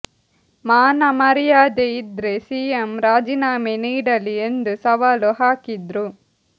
ಮಾನ ಮರ್ಯಾದೆ ಇದ್ರೆ ಸಿಎಂ ರಾಜೀನಾಮೆ ನೀಡಲಿ ಎಂದು ಸವಾಲು ಹಾಕಿದ್ರು